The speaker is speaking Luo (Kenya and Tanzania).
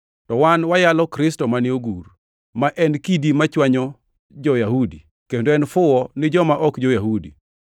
to wan wayalo Kristo mane ogur, ma en kidi machwanyo jo-Yahudi kendo en fuwo ni joma ok jo-Yahudi.